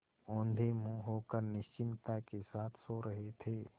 औंधे मुँह होकर निश्चिंतता के साथ सो रहे थे